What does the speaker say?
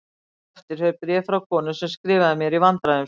Hér á eftir fer bréf frá konu sem skrifaði mér í vandræðum sínum